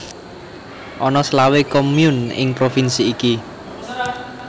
Ana selawe commune ing provinsi iki